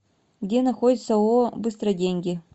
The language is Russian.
где находится ооо быстроденьги